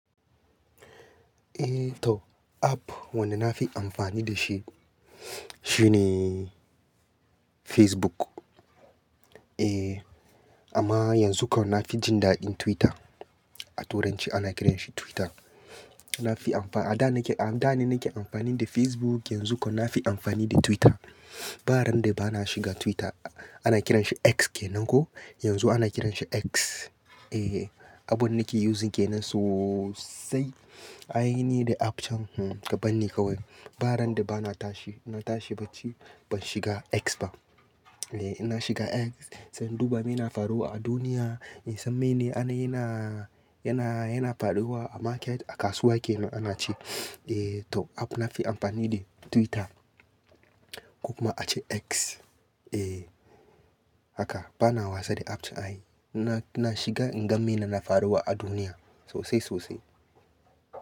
Eh to, app wanda na fi amfani da shi, shi ne Facebook. Eh, amma yanzu kam na fi jin daɗin Twitter. A turanci ana kiran shi Twitter. Na fi amfa-- a da nake, a da ne nake amfani da Facebook, yanzu kam na fi amfani da Twitter. Ba ran da ba na shiga Twitter, ana kiran shi X ke nan ko, yanzu ana kiran shi X. Eh, abun nake using ke nan sosai. Ai ni da app can, hmm, ka banni kawai. Ba ran da ba na tashi, na tashi bacci, ban shiga X ba. Eh, ina shiga X, sai in duba me na faruwa a duniya, in san mene yana, yana, yana faruwa a market, a kasuwa ke nan ana ce. Eh to, app na fi amfani de Twitter ko kuma a ce X. Eh, haka. Ba na wasa da app can ai. Na, na shiga in ga me na faruwa a duniya sosai sosai.